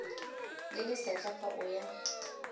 le lesetlha fa o ya